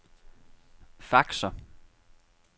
faxer